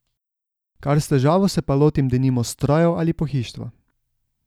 Kar s težavo se pa lotim denimo strojev ali pohištva.